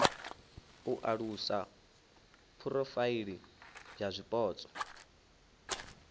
u alusa phurofaili ya zwipotso